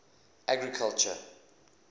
agriculture